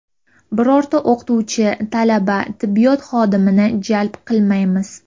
Birorta o‘qituvchi, talaba, tibbiyot xodimini jalb qilmaymiz.